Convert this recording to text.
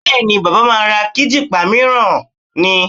Bẹ́ẹ̀ni, baba máa ra kíjìpá mìíràn ni